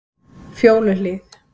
Fjóluhlíð